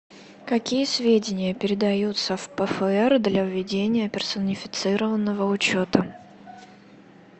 какие сведения передаются в пфр для ведения персонифицированного учета